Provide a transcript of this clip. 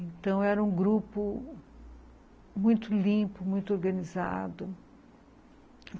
Então, era um grupo muito limpo, muito organizado.